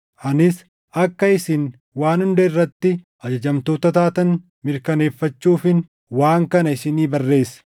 Anis akka isin waan hunda irratti ajajamtoota taatan mirkaneeffachuufin waan kana isinii barreesse.